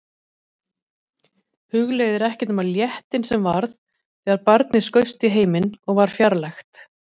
Hugleiðir ekkert nema léttinn sem varð þegar barnið skaust í heiminn og var fjarlægt.